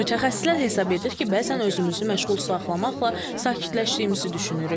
Mütəxəssislər hesab edir ki, bəzən özümüzü məşğul saxlamaqla sakitləşdiyimizi düşünürük.